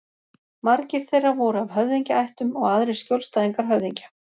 Margir þeirra voru af höfðingjaættum og aðrir skjólstæðingar höfðingja.